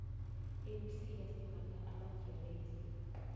ebusika simbatha amajeresi